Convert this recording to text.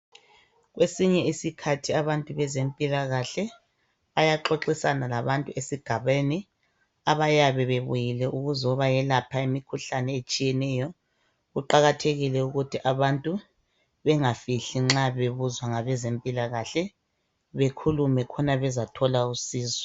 Kwesinye isikhathi abantu bezempilakahle bayaxoxisana labantu esigabeni abayabe bebuyile ukuzobayelapha imikhuhlane etshiyeneyo .Kuqakathekile ukuthi abantu bengafihli nxa bebuzwa ngabezempilakahle bekhulume khona bezathola usizo .